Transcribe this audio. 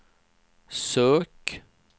sök